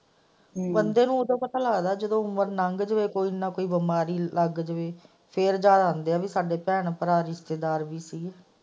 ਬੰਦੇ ਨੂੰ ਤਾਂ ਉਦੋਂ ਪਤਾ ਲੱਗਦਾ ਹੈ ਜਦੋਂ ਉਮਰ ਲੰਘ ਜਾਵੇ ਜਦੋਂ ਕੋਈ ਨਾ ਕੋਈ ਬਿਮਾਰੀ ਲੱਗ ਜਾਏ ਤਾਂ ਫ਼ੇਰ ਯਾਦ ਆਉਂਦੇ ਹੈ ਸਾਡੇ ਭੈਣ ਭਰਾ ਰਿਸ਼ਤੇਦਾਰ ਵੀ ਸੀ ਗਏ।